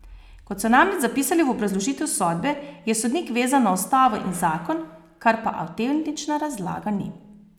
Kot so namreč zapisali v obrazložitev sodbe, je sodnik vezan na ustavo in zakon, kar pa avtentična razlaga ni.